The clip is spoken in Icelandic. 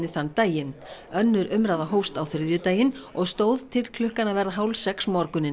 þann daginn önnur umræða hófst á þriðjudaginn og stóð til klukkan að verða hálfsex morguninn